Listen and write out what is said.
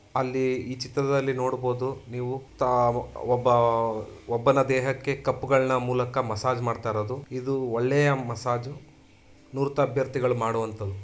ಅಲ್ಲಿ ಈ ಚಿತ್ರದಲ್ಲಿ ನೋಡಬಹುದು ನೀವು ಒಬ್ಬ ಒಬ್ಬನ ದೇಹಕ್ಕೆ ಕಪ್ಪುಗಳ ಮೂಲಕ ಮಸಾಜ್ ಮಾಡ್ತಾ ಇರೋದು. ಇದು ಒಳ್ಳೆಯ ಮಸಾಜು ನುರಿತ ಅಭ್ಯರ್ಥಿಗಳು ಮಾಡುವಂತ್ತದ್ದು.